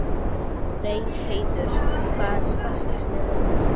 Reynheiður, hvaða stoppistöð er næst mér?